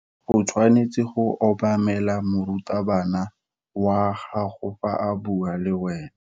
O tshwanetse go obamela morutabana wa gago fa a bua le wena.